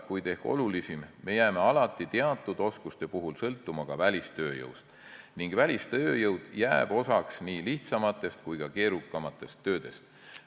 Kuid ehk olulisim: me jääme alati teatud oskuste puhul sõltuma ka välistööjõust ning välistööjõule jääb oma osa nii lihtsamate kui ka keerukamate tööde tegemisel.